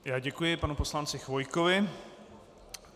Já děkuji panu poslanci Chvojkovi.